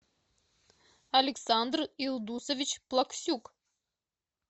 александр илдусович плаксюк